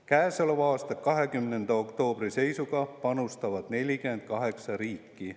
Käesoleva aasta 20. oktoobri seisuga panustab sinna 48 riiki.